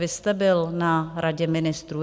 Vy jste byl na Radě ministrů.